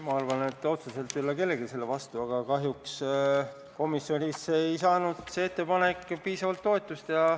Ma arvan, et otseselt ei ole kellelgi selle vastu midagi, aga kahjuks komisjonis ei saanud see ettepanek piisavalt toetust.